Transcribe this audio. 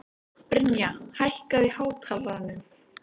Brynja, hækkaðu í hátalaranum.